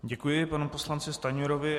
Děkuji panu poslanci Stanjurovi.